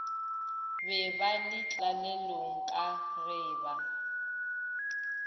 be ba letlalelong ka geba